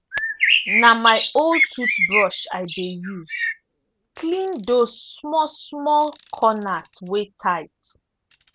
na my old toothbrush i dey use clean those small small corners wey tight.